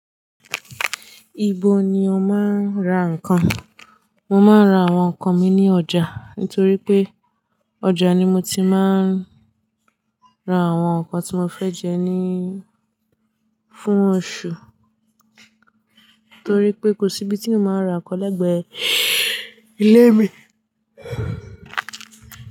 Ibo ni o máa ń ra nǹkan? Mo máa ń ra àwọn nǹkan mi ní ọjà nítorí pé ọjà ni mo ti máa ń ra àwọn nǹkan tí mo fẹ́ jẹ ní, fún oṣù. Nítorí pé kò sí ibi tí mò ń ra nǹkan lẹ́gbẹ̀ẹ́ ilé mi.